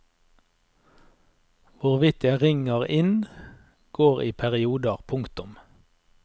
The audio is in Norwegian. Hvorvidt jeg ringer inn går i perioder. punktum